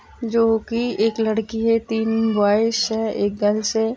जो की एक लड़की है तीन बॉय्ज़ है एक गर्ल्स हैं।